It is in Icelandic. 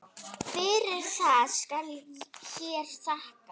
Fyrir það skal hér þakkað.